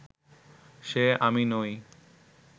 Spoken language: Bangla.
সে আমি নই